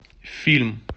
фильм